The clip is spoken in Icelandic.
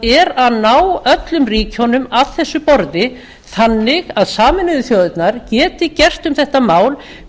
er að ná öllum ríkjunum af þessu borði þannig að sameinuðu þjóðirnar geti gert um þetta mál